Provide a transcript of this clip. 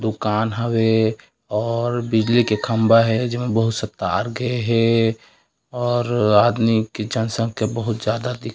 दुकान हवे और बिजली के खंभा हे जेमे बहुत से तार गे हे और आदमी के जनसंख्या बहुत ज्यादा दिखत--